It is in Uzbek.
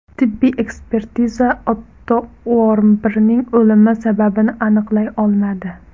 Tibbiy ekspertiza Otto Uormbirning o‘limi sababini aniqlay olmadi.